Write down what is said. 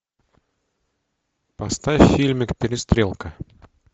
поставь фильмик перестрелка